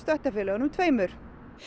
félögunum tveimur